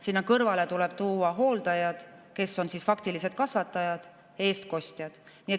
Sinna kõrvale tuleb tuua hooldajad, kes on faktilised kasvatajad, eestkostjad.